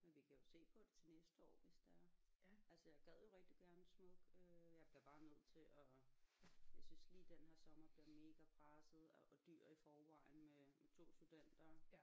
Men vi kan jo se på det til næste år hvis det er altså jeg gad jo rigtig gerne smuk øh jeg bliver bare nødt til at jeg synes lige den her sommer bliver mega presset og og dyr i forvejen med med 2 studenter